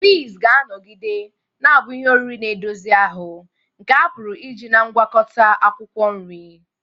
Peas ga-anọgide na-abụ ihe oriri na-edozi ahụ nke a pụrụ iji na ngwakota akwukwo nri.